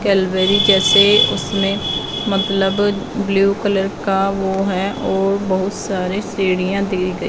Calvary जैसे उसमें मतलब ब्लू कलर का वो है और बहुत सारे सीढ़ियां दी गई--